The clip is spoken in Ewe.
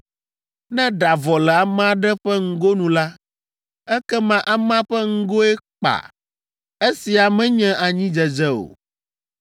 Ne ɖa vɔ le ame aɖe ƒe ŋgonu la, ekema amea ƒe ŋgoe kpã: esia menye anyidzedze o.